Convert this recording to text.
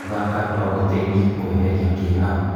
Gũthaka no gũteithie kũeheria kĩeha.